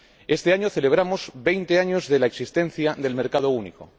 Este año celebramos veinte años de la existencia del mercado único.